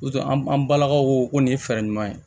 N'o tɛ an balakaw ko nin ye fɛɛrɛ ɲuman ye